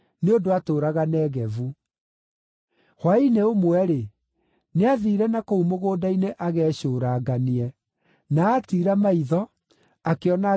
Hwaĩ-inĩ ũmwe-rĩ, nĩathiire na kũu mũgũnda-inĩ agecũũranganie, na aatiira maitho, akĩona ngamĩĩra ciũkĩte.